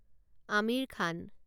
Aamir Khan